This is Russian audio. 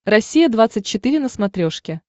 россия двадцать четыре на смотрешке